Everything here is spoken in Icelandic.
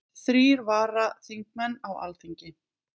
Þrír varaþingmenn á Alþingi